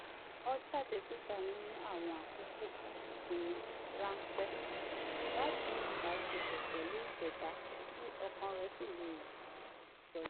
ó jáde síta ní àwọn àkókò isinmi ránpẹ́ láti ní ìbáṣepọ̀ pẹ̀lú ìṣẹ̀dá kí ọkàn rẹ̀ sì le sọjí